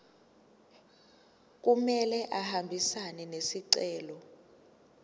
kumele ahambisane nesicelo